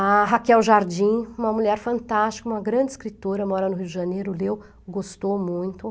A Raquel Jardim, uma mulher fantástica, uma grande escritora, mora no Rio de Janeiro, leu, gostou muito.